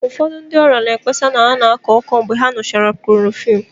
Ụfọdụ ndị ọrịa na-ekpesa na ha na-akọ ọkọ mgbe ha ṅụchara chloroquine